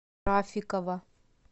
рафикова